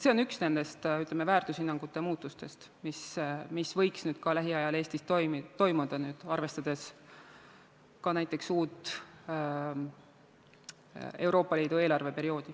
See on üks nendest väärtushinnangute muutustest, mis võiks lähiajal Eestis toimuda, arvestades ka uut Euroopa Liidu eelarveperioodi.